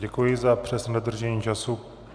Děkuji za přesné dodržení času.